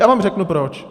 Já vám řeknu proč.